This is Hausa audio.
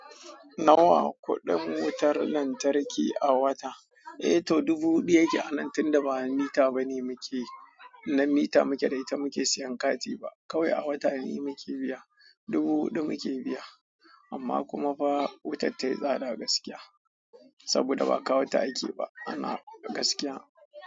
Nawa kuɗin wutar lantarki a wata? Eh to dubu hudu yake, ana tun da ba mita bane muke, nan mita muke, dai ta muke siyan kati ba. Kawai a wata ne muke biya, dubu hudu muke biya. Amma kuma fa wutar tai tsada gaskiya saboda ba kawo ta aike ba ana gaskiya.